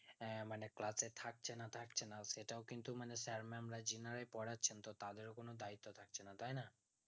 হ্যাঁ মানে class এ থাকছে না থাকছেনা সেটাও কিন্তু মানে sir, mam রা জেনারা পড়েছেন তো তাদের কোনো দায়িত্ব থাকছে না তাই না